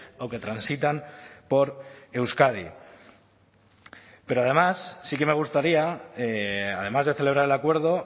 o que transitan por euskadi pero además sí que me gustaría además de celebrar el acuerdo